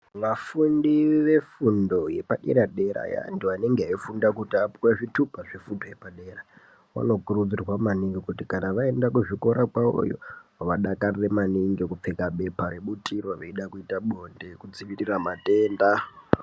Vafundi vefundo yepaderadera antu anenge eifunda kuti apuwe zvitupa zvefundo yepadera wanokurudzirwa maningi kuti kana vaenda kuzvikora kwawoyo vadakarire maningi kupfeka pepa rebutiro veida kuita bonde kudzivirira matenda.